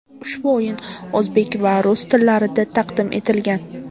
Ushbu o‘yin o‘zbek va rus tillarida taqdim etilgan.